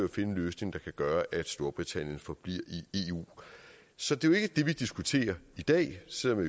at finde en løsning der gør at storbritannien forbliver i eu så det er jo ikke det vi diskuterer i dag selv om